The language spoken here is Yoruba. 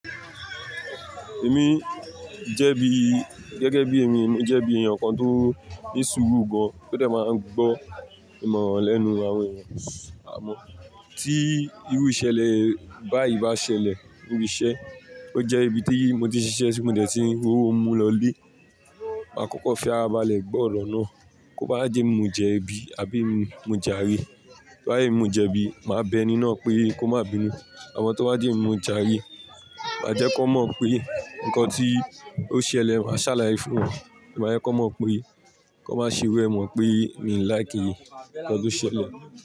Èmi jẹ́ bi gẹ́gẹ́ bí èmi emi jẹ́ bi èèyàn kan tó ní sùúrù gan, tó dẹ máa ń gbọ́ ìmọ̀ràn lẹ́nu àwọn èèyàn. Àmọ́ tí irú ìṣẹ̀lẹ̀ báyìí bá ṣẹlẹ̀ níbi iṣẹ́, ó jẹ́ ibi tí mo ti ṣiṣẹ́ si mo dẹ̀ ti n ri owó mú lọlé, máa kọ́kọ́ fi ara balẹ̀ gbọ́ ọ̀rọ̀ náà. Kó bá jẹ́ emi mo jẹbi àbí emi mo járe, to bá jẹ́ emi mo jẹbi, màá bẹ eni náà pé kó máa bínú. Àmọn to bá jẹ́ emi mo járe, màá jẹ́ kan mọ̀ pé nǹkan tí ó ṣẹlẹ̀, màá ṣàlàyé fún wọn. Màá jẹ́ kan mọ̀ pé kan má ṣe iru ẹ́ mọ̀ pé mi ò like nǹkan tó ṣẹlẹ̀